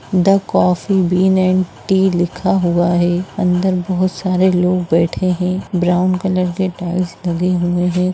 The coffee bean and tea लिखा हुआ है | अंदर बहुत सारे लोग बैठे हुए हैं | ब्राउन कलर के टाइल्स लगे हैं।